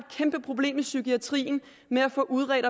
kæmpeproblem i psykiatrien med at få udredt